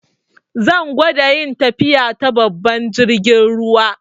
Zan gwada yin tafiya ta babban jirgin ruwa.